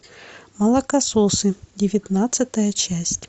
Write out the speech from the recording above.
молокососы девятнадцатая часть